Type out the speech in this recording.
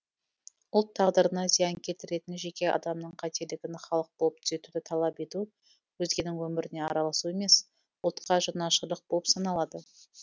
ұлт тағдырына зиян келтіретін жеке адамның қателігін халық болып түзетуді талап ету өзгенің өміріне араласу емес ұлтқа жанашырлық болып саналады